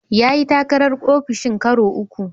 Ya yi takarar ofishin karo uku.